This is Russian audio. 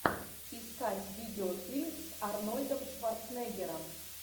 искать видеофильм с арнольдом шварценеггером